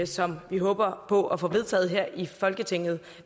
som vi håber på at få vedtaget her i folketinget